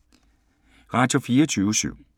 Radio24syv